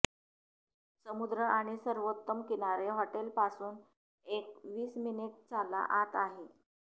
समुद्र आणि सर्वोत्तम किनारे हॉटेल पासून एक वीस मिनिट चाला आत आहेत